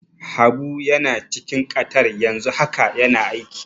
Habu yana cikin Qatar yanzu haka yana aiki.